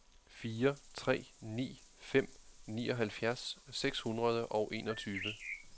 fire tre ni fem nioghalvfjerds seks hundrede og enogtyve